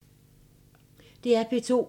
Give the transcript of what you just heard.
DR P2